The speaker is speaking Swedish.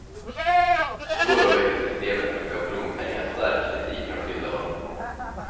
Då och då väcker systemet med schablonpengar stark kritik från skilda håll.